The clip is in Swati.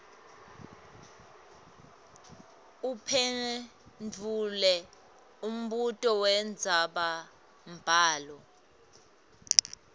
uphendvule umbuto wendzabambhalo